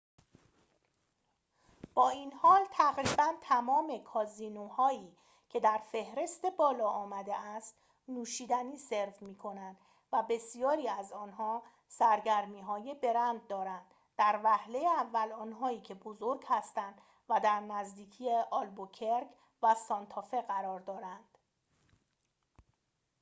با این حال، تقریباً تمام کازینوهایی که در فهرست بالا آمده است نوشیدنی سرو می‌کنند و بسیاری از آن‌ها سرگرمی‌های برند دارند در وهله اول آنهایی که بزرگ هستند و در نزدیکی آلبوکرک و سانتافه قرار دارند